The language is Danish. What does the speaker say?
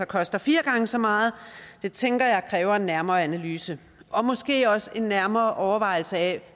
koster fire gange så meget det tænker jeg kræver en nærmere analyse og måske også en nærmere overvejelse af